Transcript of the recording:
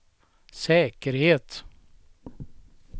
säkerhet